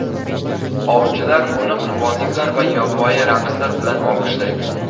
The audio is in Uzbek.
Ovchilar uni qurbonliklar va yovvoyi raqslar bilan olqishlaydi.